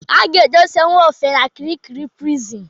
A ga-edosa Nwofe n'Kirikiri Prison.